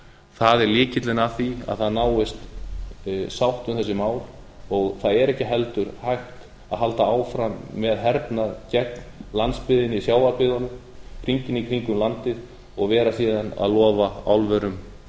það er lykillinn að því að það náist bót um þessi mál og það er ekki heldur hægt að halda áfram með hernað gegn landsbyggðinni sjávarbyggðunum hringinn í kringum landið og vera síðan að lofa álverum